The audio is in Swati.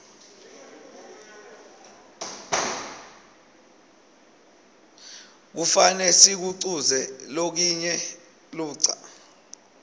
kufane sikuquze lokinye ludca